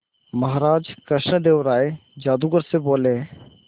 महाराज कृष्णदेव राय जादूगर से बोले